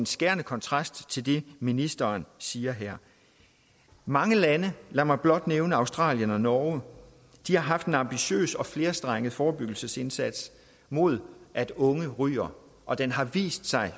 skærende kontrast til det ministeren siger her mange lande lad mig blot nævne australien og norge har haft en ambitiøs og flerstrenget forebyggelsesindsats mod at unge ryger og den har vist sig at